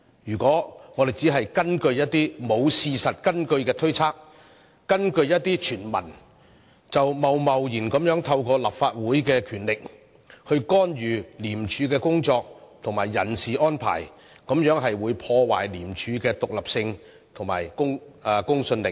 如果我們只根據一些沒有事實根據的推測，根據一些傳聞而貿然透過立法會的權力干預廉署的工作和人事安排，這樣只會破壞廉署的獨立性和公信力。